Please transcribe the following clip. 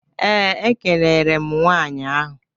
Ee, ekelere m nwanyị ahụ.